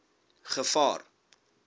gevaar